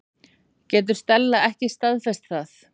Getur Stella ekki staðfest það?